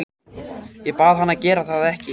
Ég bað hann að gera það ekki.